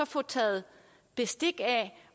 få taget bestik af